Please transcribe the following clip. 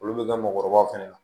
Olu bɛ kɛ mɔgɔkɔrɔbaw fɛnɛ na